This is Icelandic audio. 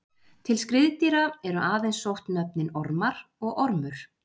Til skriðdýra eru aðeins sótt nöfnin Ormar og Ormur.